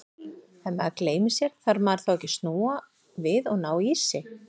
Ef maður gleymir sér, þarf maður þá ekki að snúa við og ná í sig?